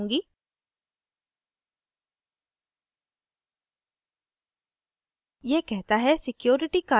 मैं इसे सबमिट करूँगी